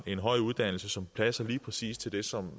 en høj uddannelse som passer lige præcis til det som